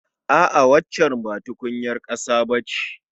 A'a waccan ba tukunyar ƙasa ba ce